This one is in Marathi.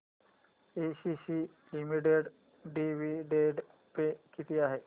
एसीसी लिमिटेड डिविडंड पे किती आहे